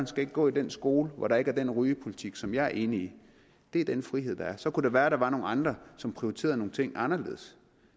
skal gå i den skole hvor der ikke er den rygepolitik som jeg er enig i det er den frihed der er så kunne det være at der var nogle andre som prioriterede nogle ting anderledes